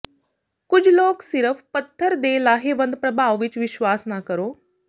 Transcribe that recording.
ਕੁਝ ਲੋਕ ਸਿਰਫ਼ ਪੱਥਰ ਦੇ ਲਾਹੇਵੰਦ ਪ੍ਰਭਾਵ ਵਿੱਚ ਵਿਸ਼ਵਾਸ ਨਾ ਕਰੋ